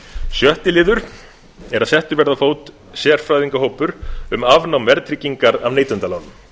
sjötti liður er að settur verði á fót sérfræðingahópur um afnám verðtryggingar af neytendalánum